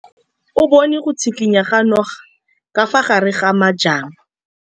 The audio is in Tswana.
O bone go tshikinya ga noga ka fa gare ga majang.